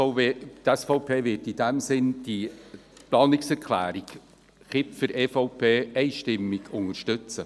Die SVP wird in diesem Sinne diese Planungserklärung Kipfer, EVP, einstimmig unterstützen.